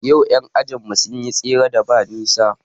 Yau ƴan ajin mu sun yi tseren da ba nisa